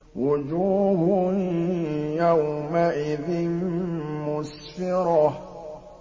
وُجُوهٌ يَوْمَئِذٍ مُّسْفِرَةٌ